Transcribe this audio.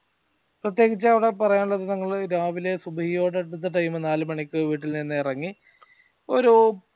പ്രിത്യേകിച് അവടെ പറയാനുള്ളത് ഞങ്ങള് രാവിലെ സുപരിയോടടുത്ത time നാലുമണിക്ക് വീട്ടിൽ നിന്ന് ഇറങ്ങി ഒരു